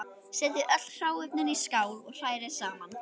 Setjið öll hráefnin í skál og hrærið saman.